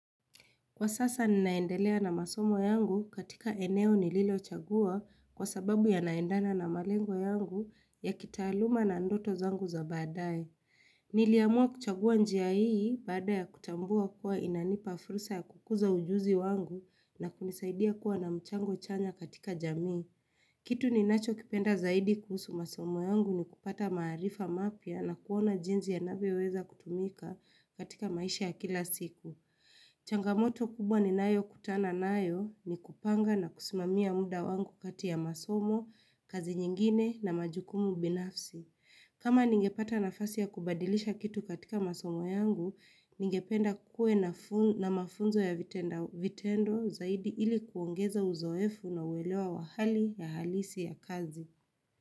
Kwa sasa ninaendelea na masomo yangu katika eneo nililo chagua kwa sababu yanaendana na malengo yangu ya kitaaluma na ndoto zangu za baadae. Niliamua kuchagua njia hii baada ya kutambua kuwa inanipa fursa ya kukuza ujuzi wangu na kunisaidia kuwa na mchango chanya katika jamii. Kitu ninacho kipenda zaidi kuhusu masomo yangu ni kupata maarifa mapya na kuona jinsi yanavyoweza kutumika katika maisha ya kila siku. Changamoto kubwa ninayo kutana nayo ni kupanga na kusimamia muda wangu kati ya masomo, kazi nyingine na majukumu binafsi. Kama ningepata nafasi ya kubadilisha kitu katika masomo yangu, ningependa kukuwe na mafunzo ya vitendo zaidi ili kuongeza uzoefu na uwelewa wahali ya halisi ya kazi.